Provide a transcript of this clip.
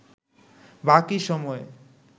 বাকি সময়ে